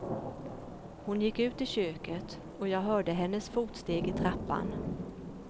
Hon gick ut i köket och jag hörde hennes fotsteg i trappan.